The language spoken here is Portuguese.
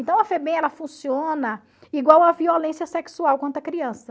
Então a Febem ela funciona igual a violência sexual contra a criança.